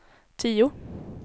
tio